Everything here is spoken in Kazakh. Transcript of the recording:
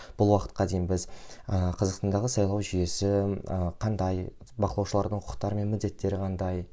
бұл уақытқа дейін біз ы қазақстандағы сайлау жүйесі ы қандай бақылаушылардың құқықтары мен міндеттері қандай